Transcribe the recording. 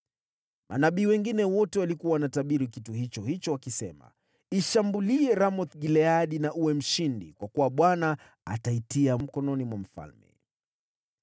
Manabii wengine wote walikuwa wanatabiri kitu hicho hicho wakisema, “Ishambulie Ramoth-Gileadi na uwe mshindi. Kwa kuwa Bwana ataitia mkononi mwa mfalme.”